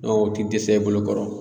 o ti dɛsɛ i bolo kɔrɔ.